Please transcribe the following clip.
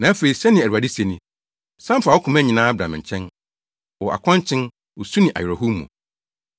“Na afei,” sɛnea Awurade se ni, “San fa wo koma nyinaa bra me nkyɛn, wɔ akɔnkyen, osu ne awerɛhow mu.”